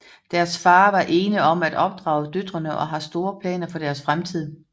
Deres far er ene om at opdrage døtrene og har store planer for deres fremtid